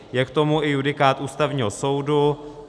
Je k tomu i judikát Ústavního soudu.